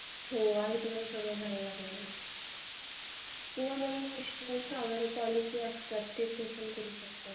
हो आधी तुम्हाला सगळे भरावे लागणार आहे. किंवा इन्श्युरन्स पॉलिसी वगैरे असतात ते ओपन करू शकता.